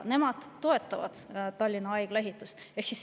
Nemad toetavad Tallinna Haigla ehitust.